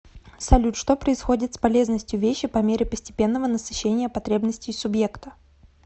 салют что происходит с полезностью вещи по мере постепенного насыщения потребностей субъекта